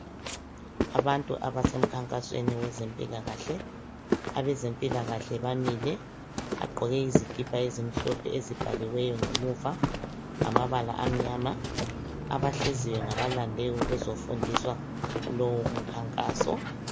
abantu abasemkhankasweni wezimpilakahle, abezimpilakahle bamile bagqoke izikipa ezimhlophe ezibhaliweyo ngemuva ngamabala amnyama abahleziyo ngabalande ukuzofundiswa lowu umkhankaso.